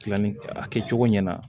Tilanni a kɛcogo ɲɛna